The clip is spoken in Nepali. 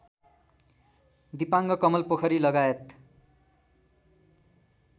दिपाङ कमलपोखरी लगायत